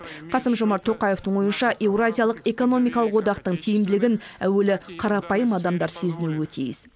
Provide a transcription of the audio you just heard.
қасым жомарт тоқаевтың ойынша еуразиялық экономикалық одақтың тиімділігін әуелі қарапайым адамдар сезінуі тиіс